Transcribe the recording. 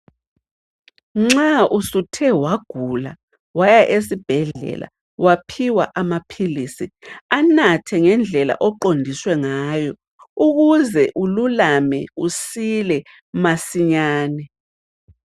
Nxa usuthe wagula, waya esibhedlela waphiwa amaphilisi, anathe ngendlela oqondiswe ngayo ukuze ululame usile masinyane.